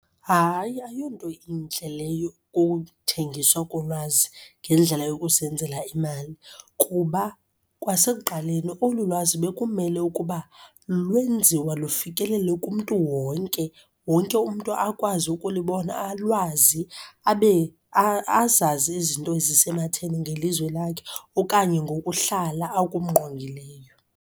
Hayi, ayonto intle leyo ukuthengiswa kolwazi ngendlela yokuzenzela imali kuba kwasekuqaleni olu lwazi bekumele ukuba lwenziwa lufikelele kumntu wonke. Wonke umntu akwazi ukulibona, alwazi, abe azazi izinto ezisematheni ngelizwe lakhe okanye ngokuhlala akungqongileyo.